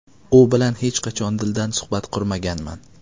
U bilan hech qachon dildan suhbat qurmaganman.